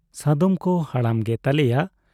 ᱥᱟᱫᱚᱢ ᱠᱚ ᱦᱟᱲᱟᱢ ᱜᱮ ᱛᱟᱞᱮᱭᱟ ᱾